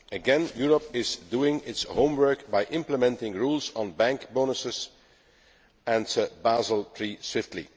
Again, Europe is doing its homework by implementing rules on bank bonuses and Basel III swiftly.